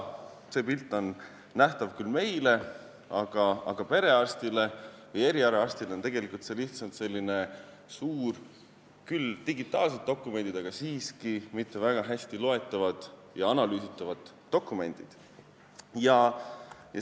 See pilt on nähtav küll meile, aga perearstile või erialaarstile on see tegelikult lihtsalt selline suur kogum küll digitaalseid, kuid siiski mitte väga hästi loetavaid ja analüüsitavaid dokumente.